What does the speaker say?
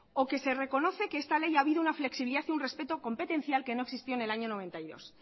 o que se reconoce que esta ley ha habido una flexibilidad y un respeto competencial que no existió en el año mil novecientos noventa y dos